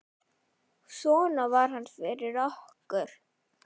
Svona var hann fyrir okkur.